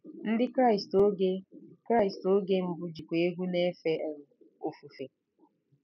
Ndị Kraịst oge Kraịst oge mbụ jikwa egwú na-efe um ofufe.